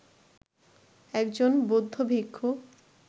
একজন বৌদ্ধ ভিক্ষু